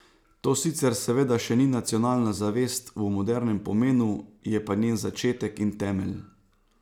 To sicer seveda še ni nacionalna zavest v modernem pomenu, je pa njen začetek in temelj.